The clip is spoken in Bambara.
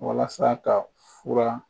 Walasa ka fura